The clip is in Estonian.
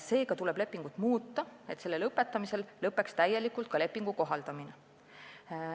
Seega tuleb lepingut muuta, et selle lõpetamisel lõppeks täielikult ka lepingu kohaldamine.